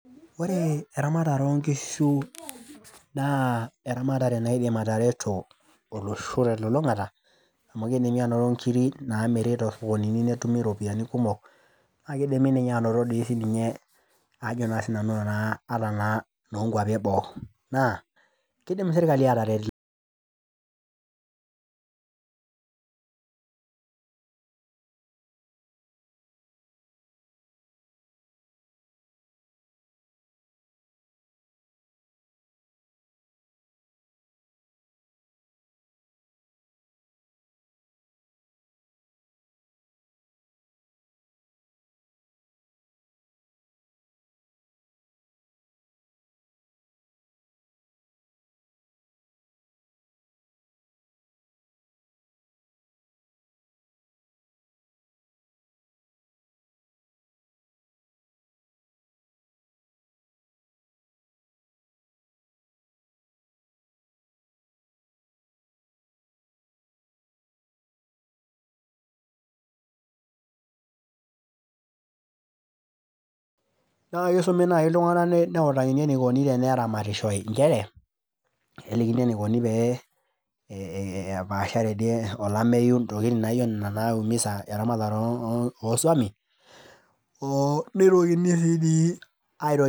Ore eramatare oonkishu naa eramatare naidim atareto olosho telulungata amu kidimi anoto nkiri namiri tosokonini nidimi anoto nkiri kumok naa kiimi anoto ninye ajo naa sinanu naa ata noo nkwapi eboo naa kidim sirkali ataret. naa kisumi nai iltunganak nelikini enikoni teneramatishoy nchere kelikini enikoni ee epashare dii olameyu, ntokitin naijo nena naiumisa eramatare oswami oo nitokini sii dii air.